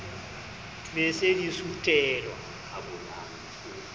be di se di sutelwa